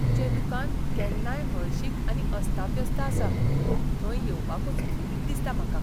तुजें दुकान केन्नाय हळशीक आनी अस्ताव्यस्त आसा, थंय येवपाकूच वीट दिसता म्हाका.